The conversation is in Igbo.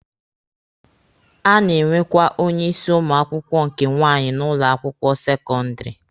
A na-enwekwa onye isi ụmụ akwụkwọ nke nwaanyị n'ụlọ akwụkwọ sekọndịrị.